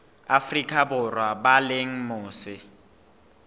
afrika borwa ba leng mose